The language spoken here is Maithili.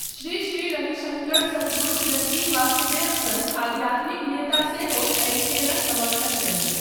श्री श्री रविशङ्कर सद्गुरु जग्गी वासुदेव सन आध्यात्मिक नेता सेहो एहि खेलक समर्थन कयलथि।